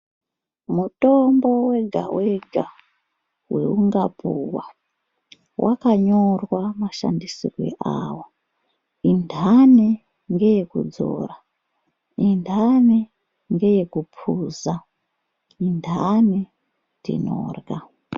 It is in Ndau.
Mutombo wegawega weungapuwa wakanyorwa mashandisirwe awo intani ngeye kudzora, intani ngeye kuphuza, intani tinorya.